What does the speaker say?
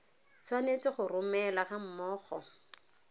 tshwanetse go romelwa ga mmogo